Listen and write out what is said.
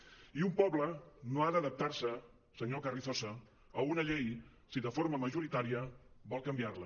i un poble no ha d’adaptar se senyor carrizosa a una llei si de forma majoritària vol canviar la